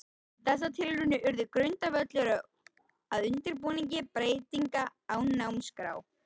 Þessar tilraunir urðu grundvöllur að undirbúningi breytinga á námskrá.